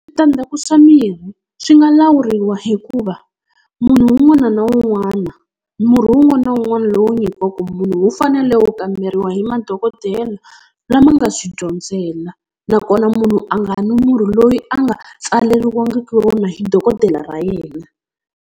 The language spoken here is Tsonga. Switandzhaku swa mirhi swi nga lawuriwa hikuva munhu un'wana na un'wana murhi, wun'wana na wun'wana lowu nyikiwaka munhu wu fanele wu kamberiwa hi madokodela lama nga swi dyondzela, nakona munhu a nga nwi murhi loyi a nga tsaleriwangiki wona hi dokodela ra yena.